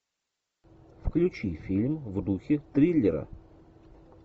включи фильм в духе триллера